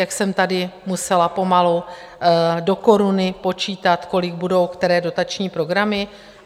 Jak jsem tady musela pomalu do koruny počítat, kolik budou které dotační programy?